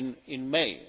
in May.